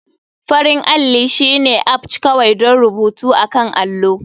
Farin alli shine aplce kawai don rubutu akan allo.